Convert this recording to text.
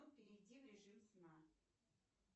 перейди в режим сна